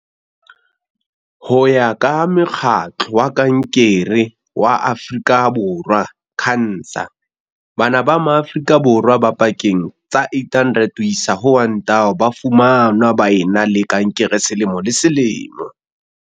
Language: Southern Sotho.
Ho ya ka Mokgatlo wa Kankere wa Afrika Borwa, CANSA, bana ba Maa frika Borwa ba pakeng tsa 800 ho isa ho 1 000 ba fumanwa ba e na le kankere selemo le selemo.